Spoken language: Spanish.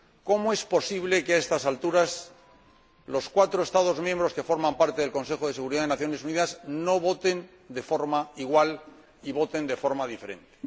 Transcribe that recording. ¿Cómo es posible que, a estas alturas, los cuatro Estados miembros que forman parte del Consejo de Seguridad de las Naciones Unidas no voten de forma igual y lo hagan de forma diferente?